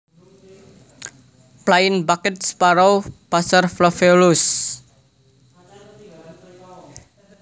Plain backed Sparrow Passer flaveolus